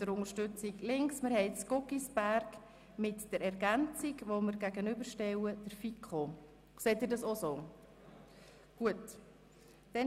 Nun stellen wir die Planungserklärung 2 Guggisberg mit der Ergänzung der Planungserklärung 1 der FiKo-Mehrheit gegenüber.